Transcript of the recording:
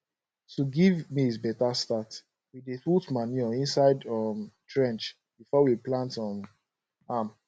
to give maize better start we dey put manure inside um trench before we plant um am